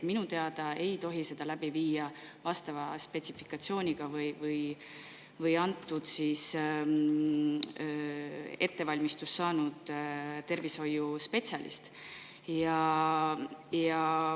Minu teada seda protseduuri läbi viia vastava spetsifikatsiooniga või vastava ettevalmistuse saanud tervishoiuspetsialist.